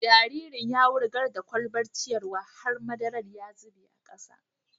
Jaririn ya wurgar da kwalbar ciyarwa har madaran ya zuba a kasa.